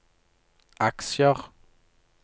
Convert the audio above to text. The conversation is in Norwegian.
aksjer